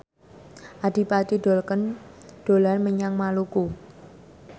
Adipati Dolken dolan menyang Maluku